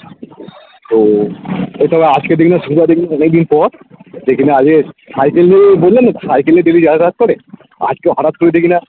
ও ও তবে আজকে থেকে দিন অনেকদিন পর cycle নিয়ে বললাম না cycle নিয়ে daily যাতায়াত করে আজকে হটাৎ করে দেখি না